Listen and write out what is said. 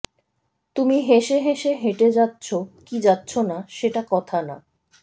তুমি হেসে হেসে হেঁটে যাচ্ছো কি যাচ্ছো না সেটা কথা না